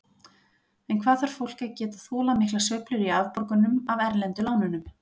En hvað þarf fólk að geta þolað miklar sveiflur í afborgunum af erlendu lánunum?